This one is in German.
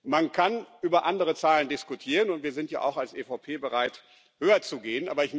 Man kann über andere Zahlen diskutieren, und wir sind ja auch als EVP bereit, höher zu gehen.